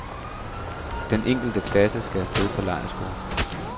En enkelt klasse, skal af sted på lejrskole.